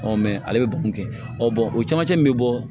ale bɛ baro kɛ o camancɛ min bɛ bɔ